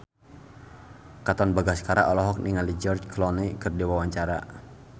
Katon Bagaskara olohok ningali George Clooney keur diwawancara